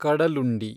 Kadalundi